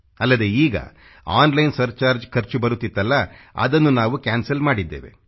ಅಲ್ಲದೆ ಈಗ online surcharge ಖರ್ಚು ಬರುತ್ತಿತ್ತಲ್ಲಾ ಅದನ್ನು ನಾವು ಕ್ಯಾನ್ಸಲ್ ಮಾಡಿದ್ದೇವೆ